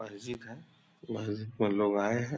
मस्जिद हैं मस्जिद में लोग आये हैं।